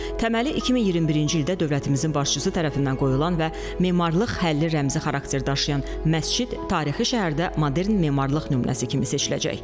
Təməli 2021-ci ildə dövlətimizin başçısı tərəfindən qoyulan və memarlıq, həlli rəmzi xarakter daşıyan məscid tarixi şəhərdə modern memarlıq nümunəsi kimi seçiləcək.